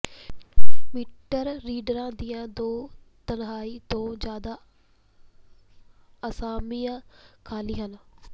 metre ਰੀਡਰਾਂ ਦੀਆਂ ਦੋ ਤਿਹਾਈ ਤੋਂ ਜ਼ਿਆਦਾ ਅਸਾਮੀਆਂ ਖਾਲੀ ਹਨ